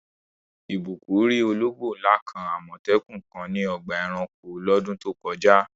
Ìbùkún rí ológbò ńlá kan, Àmọ̀tẹ́kùn kan ní ọgbà ẹranko lọ́dún tó kọjá.